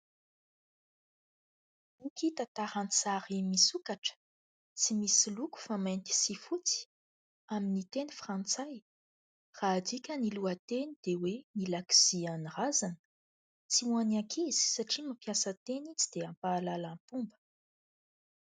Boky tantara an-tsary misokatra tsy misy loko fa mainty sy fotsy amin'ny teny frantsay raha adika ny lohateny dia hoe : "Ny lakozian'ny razana", tsy ho any ankizy satria mampiasa teny tsy dia mahalala fomba.